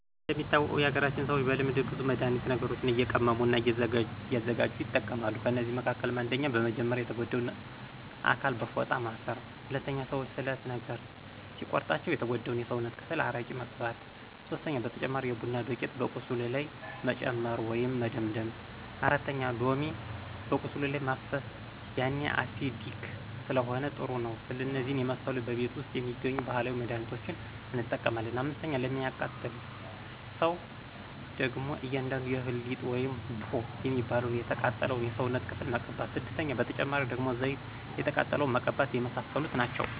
እንደሚታወቀው የሀገራችን ሰዎች በልምድ ብዙ መድሀኒት ነገሮችንእየቀመሙ እና እያዘጋጅ ይጠቀማሉ ከእነዚህ መካከልም። 1 :-በመጀመርያ የተጎዳውን አካል በፎጣ ማስር 2:-ሰዎች ስለት ነገር ሲቆርጣቸው የተጎዳው የስውነት ክፍል አረቂ መቅባት 3:-በተጨማሪ የቡና ዱቂት በቁስሉ ላይ መጨመር ወይም መደምደም 4:-ሎሚ በቁስሉ ላይ ማፍሰሰ ያኔ አሲዲክ ስለሆነ ጥሩ ነው እነዚህን የመሰሉ በቤት ውስጥ የሚገኙ ባህላዊ መድህኒቶችን እንጠቀማለን። 5፦ ለሚቃጠል ሰው ደግሞ አንዳንዱ የእህል ሊጥ ውይም ቡሆ የሚባለውን የተቃጠለው የሰውነት ክፍል መቅባት 6:- በተጨማሪ ደግሞ ዘይት የተቃጠለውን መቀባተ የመሳሰሉት ናቸው